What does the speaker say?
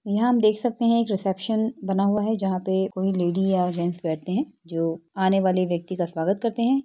यहां हम देख सकते हैं। रिसेप्शन बना हुआ है। जहां पे कोई लेडी या जेंट्स बैठते हैं जो आने वाले व्यक्ति का स्वागत करते हैं।